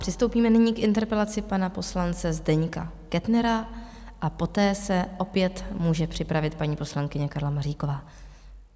Přistoupíme nyní k interpelaci pana poslance Zdeňka Kettnera a poté se opět může připravit paní poslankyně Karla Maříková.